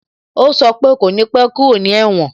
O sọ pe "kò ní pẹ́ kúrò ní èwòn"